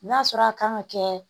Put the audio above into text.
N'a sɔrɔ a kan ka kɛ